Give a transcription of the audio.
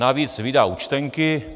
Navíc vydá účtenky.